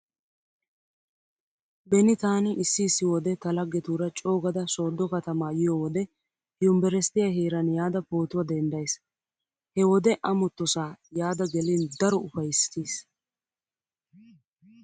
Beni taani issi issi wode ta laggetuura coogada sooddo katama yiyo wode yumbberesttiya heeran yaada pootuwa denddays. He wode amottosaa yaada gelin daro ufayssiis.